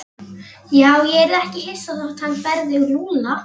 Já, ég yrði ekki hissa þótt hann berði Lúlla.